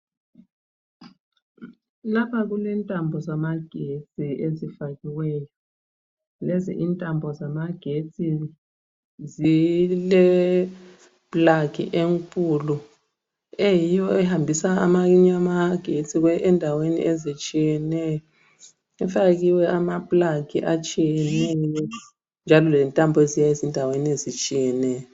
Lapha kulentambo zamagetsi ezifakiweyo lezi intambo zamagetsi zilepulagi enkulu eyiyo ehambisa amanye amagetsi endaweni ezitshiyeneyo kufakiwe amapulagi atshiyeneyo njalo lentambo eziya ezindaweni ezitshiyeneyo.